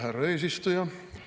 Härra eesistuja!